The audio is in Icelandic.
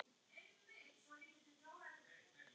Nei, ekki til okkar